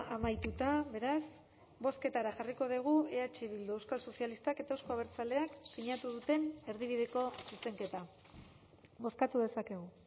amaituta beraz bozketara jarriko dugu eh bildu euskal sozialistak eta euzko abertzaleak sinatu duten erdibideko zuzenketa bozkatu dezakegu